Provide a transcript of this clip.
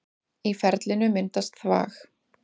Í ferlinu myndast þvag.